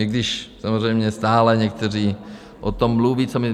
I když samozřejmě stále někteří o tom mluví, co my...